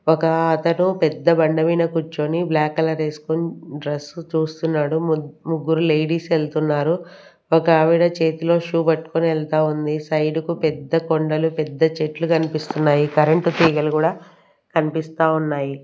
ఒక అతను పెద్ద బండ మీన కూర్చొని బ్లాక్ కలర్ వేసుకొని డ్రెస్ చూస్తున్నాడు ముగ్గురు లేడీస్ వెళ్తున్నారు ఒక ఆవిడ చేతిలో షూ పట్టుకొని వెళ్తా ఉంది సైడ్ కు పెద్ద కొండలు పెద్ద చెట్లు కనిపిస్తున్నాయి కరెంట్ తీగలు కూడా కనిపిస్తా ఉన్నాయి.